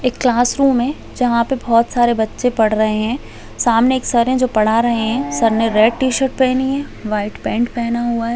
एक क्लासरूम है जहां पे बच्चे पढ़ रहे है सामने एक सिर है जो पढ़ा रहे है सब ने रेड टी शर्ट पहनी हुई है वाइट पेंट पहना हुआ है।